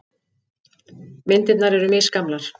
Myndirnar eru misgamlar.